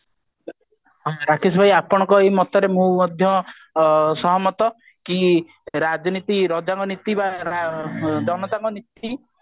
ରାକେଶ ଭାଇ ଆପଣଙ୍କ ଏଇ ମତରେ ମୁଁ ମଧ୍ୟ ସହମତ କି ରାଜନୀତି ରଜାଙ୍କ ନୀତି ବା ଜନତାଙ୍କ ନୀତି